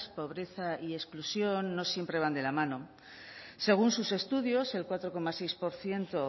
pobreza y exclusión no siempre van de la mano según sus estudios el cuatro coma seis por ciento